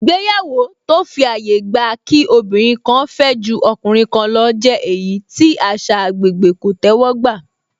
Ìgbéyàwó tó fi àyè gba kí obìnrin fẹ́ ju ọkùnrin kan lọ jẹ́ èyí tí àṣà agbègbè kò tẹ́wọ́ gbà